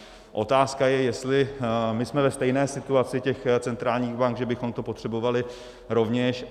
Otázka je, jestli my jsme ve stejné situaci těch centrálních bank, že bychom to potřebovali rovněž.